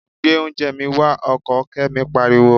Gbé oúnjẹ mi wá! Ọkọ Kẹ́mi pariwo.